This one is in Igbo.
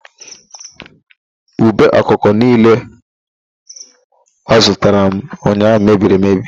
Ube okpoko niile ọ zụtara m ụnyaahụ mebiriri emebi